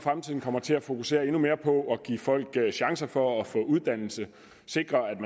fremtiden kommer til at fokusere endnu mere på at give folk en chance for at få uddannelse og sikre at